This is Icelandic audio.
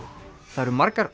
það eru margar